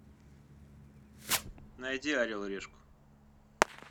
найди орел и решку